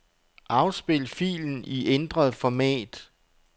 Afspil filen i ændret format.